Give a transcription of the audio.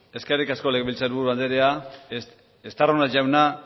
eskerrik asko legebiltzar buru andrea estarrona jauna